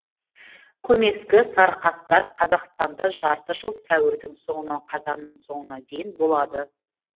көмескі сарықастар қазақстанда жарты жыл сәуірдің соңынан қазанның соңына дейін болады